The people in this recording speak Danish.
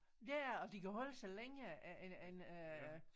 Ja ja og de kan holde sig længere end end øh